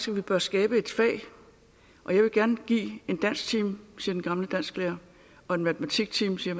vi bør skabe et fag og jeg vil gerne give en dansktime siger den gamle dansklærer og en matematiktime siger